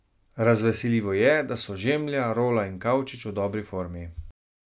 Razveseljivo je, da so Žemlja, Rola in Kavčič v dobri formi.